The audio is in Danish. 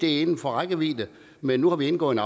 er inden for rækkevidde men nu har vi indgået